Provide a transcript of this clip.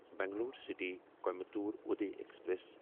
Bangalore city Coimbatore Uday express